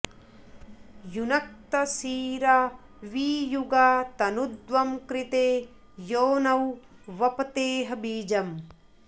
युनक्त सीरा वि युगा तनुध्वं कृते योनौ वपतेह बीजम्